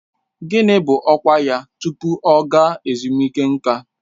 Gịnị bụ ọkwa ya tupu ọ ga ezumike nká?